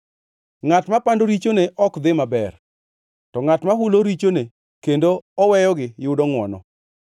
Ngʼat mapando richone ok dhi maber, to ngʼat ma hulo richone kendo oweyogi yudo ngʼwono.